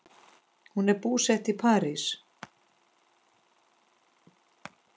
Hún er búsett í París.